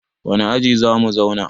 wane aji za mu zauna?